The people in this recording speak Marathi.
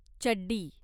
चड्डी